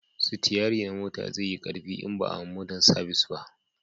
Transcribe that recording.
sitiyari na mota zai yi karfi in ba a ma mota sabis ba